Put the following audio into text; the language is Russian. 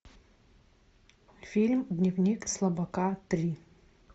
фильм дневник слабака три